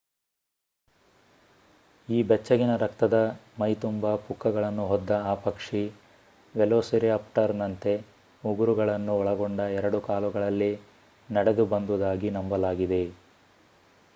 ಈ ಬೆಚ್ಚಗಿನ ರಕ್ತದ ಮೈ ತುಂಬ ಪುಕ್ಕಗಳನ್ನು ಹೊದ್ದ ಆ ಪಕ್ಷಿ ವೆಲೊಸಿರಾಪ್ಟರ್ನಂತೆ ಉಗುರುಗಳನ್ನು ಒಳಗೊಂಡ ಎರಡು ಕಾಲುಗಳಲ್ಲಿ ನಡೆದು ಬಂದುದಾಗಿ ನಂಬಲಾಗಿದೆ